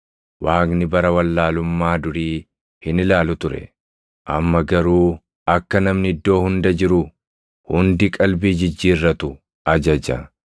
Waaqni bara wallaalummaa durii hin ilaalu ture; amma garuu akka namni iddoo hunda jiru hundi qalbii jijjiirratu ajaja.